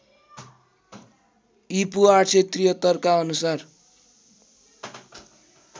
ईपू ८७३ का अनुसार